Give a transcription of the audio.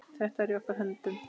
Þetta er í okkar höndum.